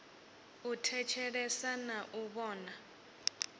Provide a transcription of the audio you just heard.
u thetshelesa na u vhona